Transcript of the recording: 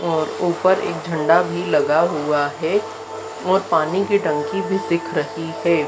और ऊपर एक झंडा भी लगा हुआ है और पानी की टंकी भी दिख रही है।